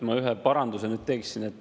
Ma ühe paranduse teeksin.